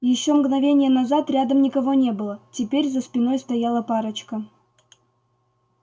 ещё мгновение назад рядом никого не было теперь за спиной стояла парочка